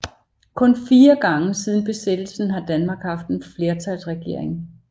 Kun 4 gange siden Besættelsen har Danmark haft en flertalsregering